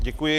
Děkuji.